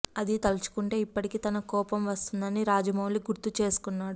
అది తలుచుకుంటే ఇప్పటికీ తనకు కోపం వస్తుందని రాజమౌళి గుర్తు చేసుకున్నాడు